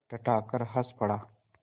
वह ठठाकर हँस पड़ा